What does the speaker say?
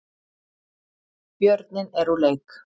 Björninn er úr leik